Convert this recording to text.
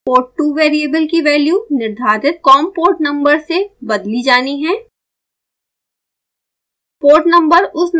port2 variable की value निर्धारित com port number से बदली जानी है